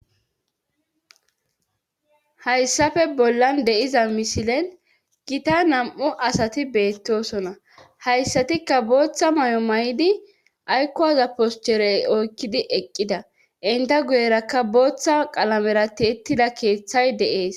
hayssafe bollan de7iza miseilen gita nam7u asati beettoosona hayssatikka booththa may7o may7idi aykko waza poscherey oykkidi eqqida inta guyerakka booththa qalamera tiittida keeththay de7es